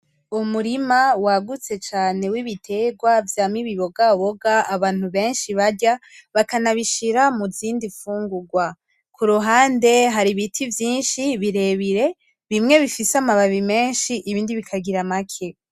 Umurima wagutse cane w,ibiterwa vyama ibibogaboga abantu benshi barya banabishira muzindi mfungurwa kuruhande hari ibiti vyinshi bire bire bimwe bifise amababi menshi ibindi bikagira make .